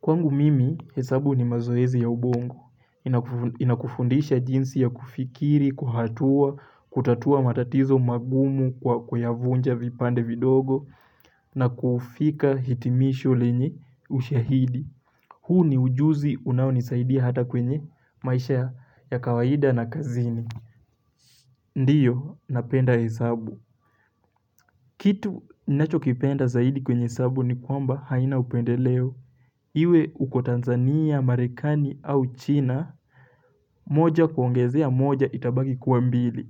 Kwangu mimi hesabu ni mazoezi ya ubongo. Inakufundisha jinsi ya kufikiri, kuhatua, kutatua matatizo magumu kwa kuyavunja vipande vidogo na kufika hitimisho lenye ushahidi. Huu ni ujuzi unaonisaidia hata kwenye maisha ya kawaida na kazini. Ndiyo, napenda hesabu. Kitu ninachokipenda zaidi kwenye hesabu nikwamba haina upendeleo. Iwe uko Tanzania, Marekani au China, moja kuongezea moja itabaki kua mbili.